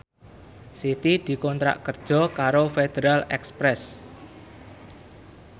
Siti dikontrak kerja karo Federal Express